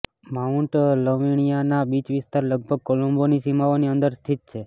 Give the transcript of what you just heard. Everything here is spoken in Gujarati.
માઉન્ટ લવીણિયાના બીચ વિસ્તાર લગભગ કોલંબોની સીમાઓની અંદર સ્થિત છે